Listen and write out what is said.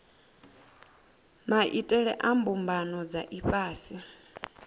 maitele a mbumbano dza ifhasi